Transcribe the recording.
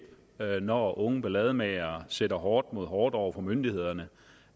når unge ballademagere sætter hårdt mod hårdt over for myndighederne